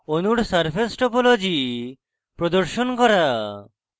অণুর surface topology প্রদর্শন করা